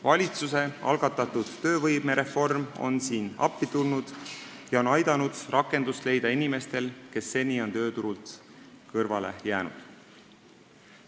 Valitsuse algatatud töövõimereform on siin appi tulnud ja aidanud rakendust leida inimestel, kes seni olid tööturult kõrvale jäänud.